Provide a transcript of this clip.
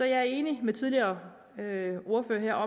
jeg er enig med tidligere ordførere